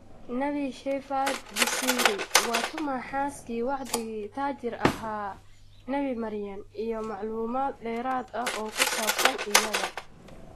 Nebi Shepherd Busiri: Waa tuma xaaskii wacdigii ' taajir ahaa' Nebi Maryam, iyo macluumaad dheeraad ah oo ku saabsan iyada